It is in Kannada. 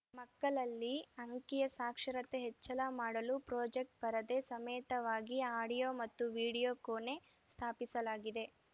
ಮಕ್ಕಳಲ್ಲಿ ಅಂಕೀಯ ಸಾಕ್ಷರತೆ ಹೆಚ್ಚಳ ಮಾಡಲು ಪ್ರೊಜೆಕ್ಟಪರದೆ ಸಮೇತವಾಗಿ ಅಡಿಯೋ ಮತ್ತು ವಿಡಿಯೋ ಕೋಣೆ ಸ್ಥಾಪಿಸಲಾಗಿದೆ